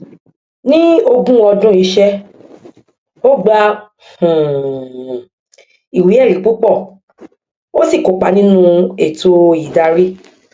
ní ogún ọdún iṣẹ ó gba um iwéẹrí púpọ ó sì kópa nínú ètò ìdarí